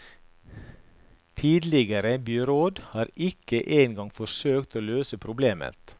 Tidligere byråd har ikke engang forsøkt å løse problemet.